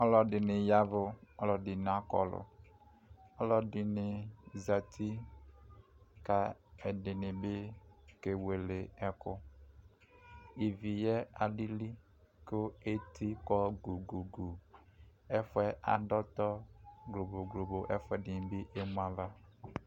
ɔlo dini yavu ɔlo edini akɔlo ɔlo edi ni zati ko edini bi kewele eko ivi yɛ alili ko eti kɔ gugugu ɛfoɛ ado ɔtɔ glo glo globo ɛfuɛ dini bi emu ava